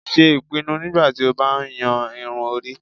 Ṣe ipinnu nigbati o ba yan irun-ori